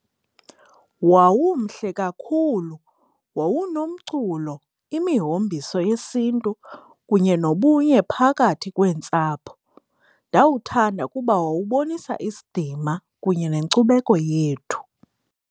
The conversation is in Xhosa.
Wawumhle kakhulu, wawunomculo, imihombiso yesiNtu kunye nobunye phakathi kweentsapho. Ndawuthanda kuba wawubonisa isidima kunye nenkcubeko yethu.